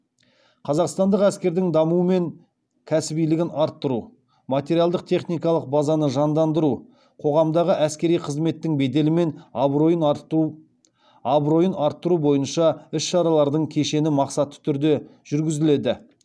қазақстандық әскердің дамуы мен кәсібилігін арттыру материалдық техникалық базаны жандандыру қоғамдағы әскери қызметтің беделі мен абыройын арттыру бойынша іс шаралардың кешені мақсатты түрде жүргізіледі